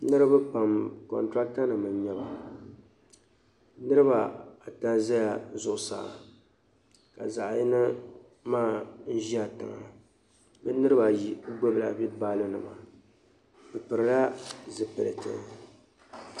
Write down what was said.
Niriba pam kɔntiraatanima n-nyɛ ba. Niriba ata zala zuɣusaa ka zaɣ' yino maa ʒi tiŋa. Bɛ niriba ayi gbibila wulibaaronima bɛ pilila zipiliti.